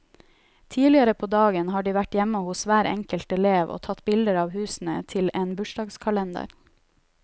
Tidligere på dagen har de vært hjemme hos hver enkelt elev og tatt bilder av husene til en bursdagskalender.